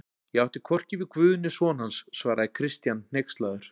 Ég átti hvorki við Guð né son hans, svaraði Christian hneykslaður.